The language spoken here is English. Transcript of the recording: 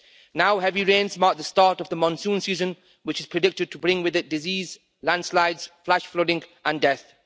Now heavy rains mark the start of the monsoon season, which is predicted to bring with it disease, landslides, flash flooding and death.